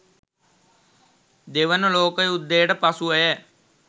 දෙවන ලෝක යුද්ධයට පසුවය.